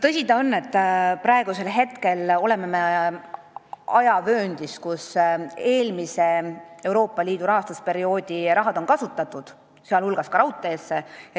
Tõsi ta on, et praegu on meil käes aeg, kus eelmise Euroopa Liidu rahastusperioodi raha on ära kasutatud ka raudtee arendamisel.